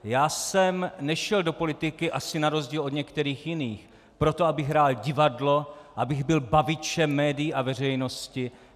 Já jsem nešel do politiky - asi na rozdíl od některých jiných - proto, abych hrál divadlo, abych byl bavičem médií a veřejnosti.